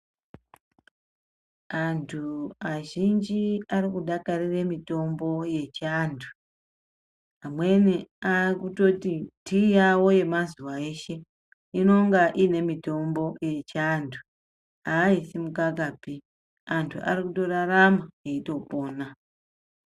Antu azhinji arikudakarire mitombo yechi antu amweni aakutoti tea yavo yemazuwa eshe inonga iinemitombo echado aiisi mukakapi, antu arikutorarama eitopona.